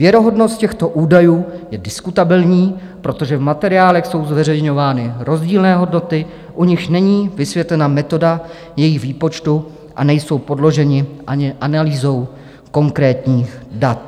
Věrohodnost těchto údajů je diskutabilní, protože v materiálech jsou zveřejňovány rozdílné hodnoty, u nichž není vysvětlena metoda jejich výpočtu a nejsou podloženy ani analýzou konkrétních dat.